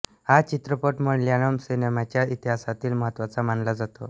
हा चित्रपट मल्याळम सिनेमाच्या इतिहासातील महत्त्वाचा मानला जातो